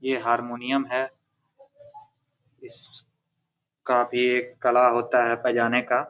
ये हारमोनियम है इसका भी एक कला होता है बजाने का।